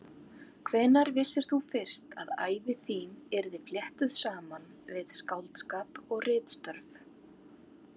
Hvenær vissir þú fyrst að ævi þín yrði fléttuð saman við skáldskap og ritstörf?